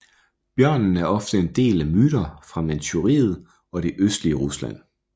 Bjørnen er ofte en del af myter fra Manchuriet og det østlige Rusland